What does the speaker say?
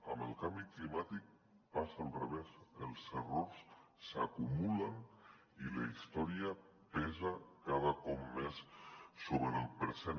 amb el canvi climàtic passa al revés els errors s’acumulen i la història pesa cada cop més sobre el present